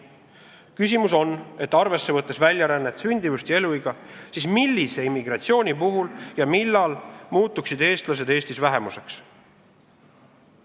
Küsimus on see, et kui arvesse võtta väljarännet, sündimust ja eluiga, siis millise immigratsiooni puhul ja millal muutuksid eestlased Eestis vähemuseks.